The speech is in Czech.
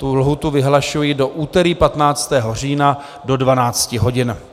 Tu lhůtu vyhlašuji do úterý 15. října do 12 hodin.